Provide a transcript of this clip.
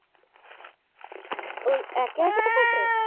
ওই একে একে এক একে